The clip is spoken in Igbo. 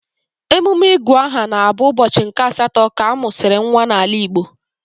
Emume ịgụ aha na-abụ ụbọchị nke asatọ ka a mụsịrị nwa n'ala Igbo